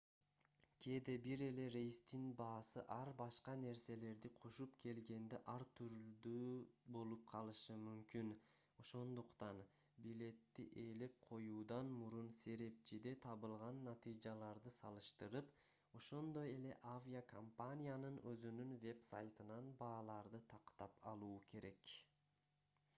кээде бир эле рейстин баасы ар башка нерселерди кошуп келгенде ар түрлүү болуп калышы мүмкүн ошондуктан билетти ээлеп коюудан мурун серепчиде табылган натыйжаларды салыштырып ошондой эле авиакомпаниянын өзүнүн вебсайтынан бааларды тактап алуу керек